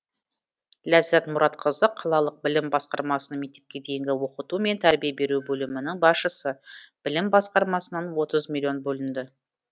ләззат мұратқызы қалалық білім басқармасының мектепке дейінгі оқыту мен тәрбие беру бөлімінің басшысы білім басқармасынан отыз миллион бөлінді